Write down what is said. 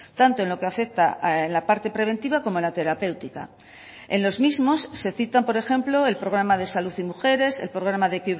tanto en lo que afecta en la parte preventiva como la terapéutica en los mismos se citan por ejemplo el programa de salud y mujeres el programa de